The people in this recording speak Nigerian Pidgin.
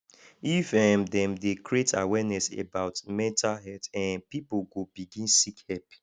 if um dem dey create awareness about mental health um pipo go begin seek help